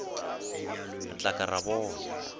re tla ka ra bona